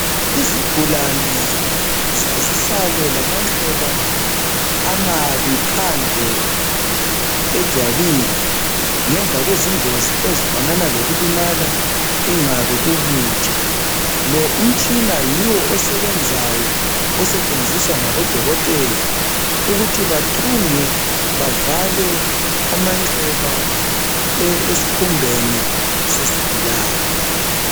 Izigulane zazisale lamanxeba amabi phandle ejwabini ngemva kwezingozi ezifanana lokulimala ingabe ukutsha. Lo umtshina yiwo osebenzayo osetshenziswa ngabodokotela ukuthi bathunge bavale amanxeba esikhumbeni sesigulane.